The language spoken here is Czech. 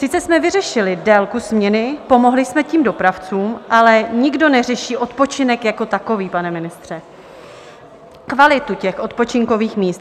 Sice jsme vyřešili délku směny, pomohli jsme tím dopravcům, ale nikdo neřeší odpočinek jako takový, pane ministře, kvalitu těch odpočinkových míst.